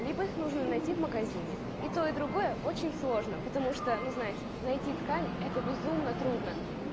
либо их нужно найти в магазине и то и другое очень сложно потому что ну знаете найти ткань это безумно трудно